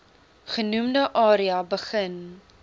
genoemde area begin